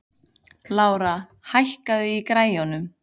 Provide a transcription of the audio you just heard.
Lára, hækkaðu í græjunum.